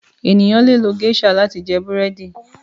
ènìyàn lẹ lo geisha láti jẹ Búrẹ́di